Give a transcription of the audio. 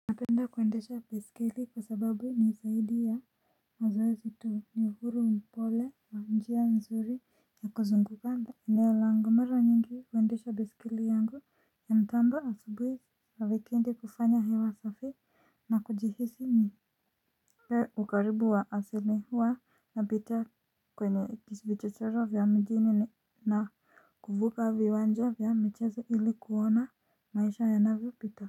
Napenda kuendesha baiskeli kwa sababu ni zaidi ya mazoezi tu ni uhuru mpole wa njia nzuri ya kuzunguka nda eneo langu mara nyingi huendesha baiskeli yangu ya mtambo asubuhi wikendi kufanya hewa safi na kujihisi ni Hi ukaribu wa asili huwa napita kwenye vichochoro vya mijini na kuvuka viwanja vya michezo ili kuwona maisha yanavyo pita.